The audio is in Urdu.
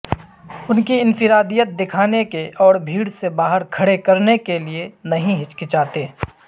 ان کی انفرادیت دکھانے کے اور بھیڑ سے باہر کھڑے کرنے کے لئے نہیں ہچکچاتے